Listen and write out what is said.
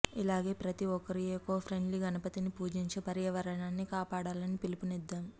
ఇలాగే ప్రతి ఒక్కరూ ఏకో ప్రెండ్లీ గణపతిని పూజించి పర్యావరణాన్ని కాపాడాలని పిలుపునిద్దాం